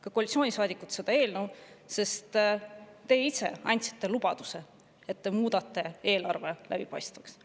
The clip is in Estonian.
… ka koalitsioonisaadikud, seda eelnõu, sest te ise andsite lubaduse, et te muudate eelarve läbipaistvaks.